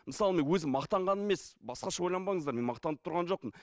мысалы мен өзім мақтанғаным емес басқаша ойланбаңыздар мен мақтанып тұрған жоқпын